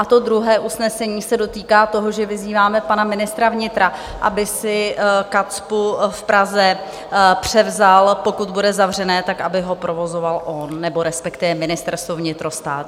A to druhé usnesení se dotýká toho, že vyzýváme pana ministra vnitra, aby si KACPU v Praze převzal, pokud bude zavřené, tak aby ho provozoval on, nebo respektive Ministerstvo vnitra, stát.